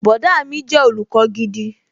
Bọ̀dá mi jẹ́ olùkọ́ gidi